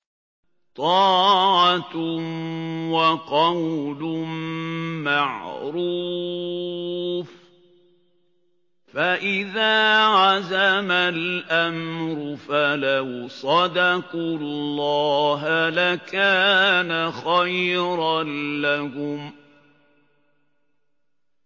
طَاعَةٌ وَقَوْلٌ مَّعْرُوفٌ ۚ فَإِذَا عَزَمَ الْأَمْرُ فَلَوْ صَدَقُوا اللَّهَ لَكَانَ خَيْرًا لَّهُمْ